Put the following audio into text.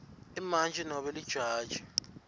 imantji nobe lijaji